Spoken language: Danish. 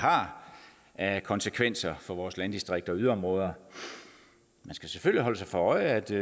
har af konsekvenser for vores landdistrikter og yderområder man skal selvfølgelig holde sig for øje at det